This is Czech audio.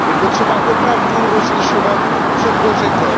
Je potřeba opravdu rozlišovat, co kdo řekl.